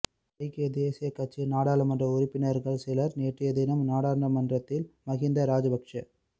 ஐக்கிய தேசியக் கட்சியின் நாடாளுமன்ற உறுப்பினர்கள் சிலர் நேற்றையதினம் நாடாளுமன்றத்தில் மஹிந்த ராஜபக்ஷ